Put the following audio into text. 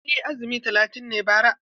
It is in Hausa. Eh, azumi talatin na yi bara.